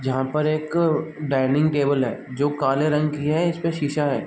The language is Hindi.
जहाँ पे एक डाइनिंग टेबल हैं जो काले रंग की हैं इसपे शीशा है।